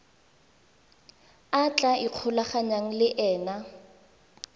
a tla ikgolaganyang le ena